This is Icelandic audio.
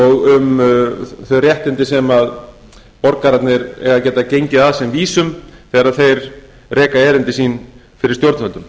og um þau réttindi sem borgararnir eiga að geta gengið að sem vísum þegar þeir reka erindi sín fyrir stjórnvöldum